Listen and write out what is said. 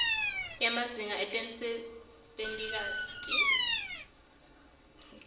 emazinga ekusebenta nesikhatsi